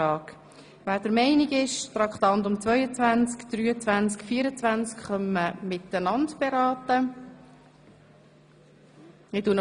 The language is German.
Ich betätige noch kurz den Gong für diejenigen, die bereits den Saal verlassen haben.